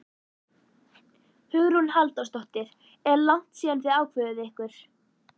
Hugrún Halldórsdóttir: Er langt síðan þið ákváðuð ykkur?